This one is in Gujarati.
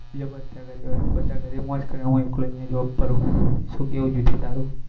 બીજા બધા ઘરે હોય બધા ઘરે મોજ કરે અને હું એકલો અહિયાં job કરું શું કેવું જ્યોતિ તારું